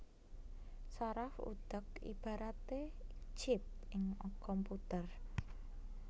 Saraf utek ibaraté chip ing komputer